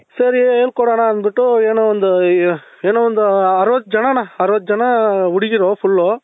ಸರಿ ಹೇಳ್ಕೊಡಣ ಅನ್ಬಿಟ್ಟು ಏನೋ ಒಂದು ಏನೋ ಒಂದು ಅರವತ್ತು ಜನಣ್ಣ ಅರವತ್ತು ಜನ ಹುಡುಗೀರು full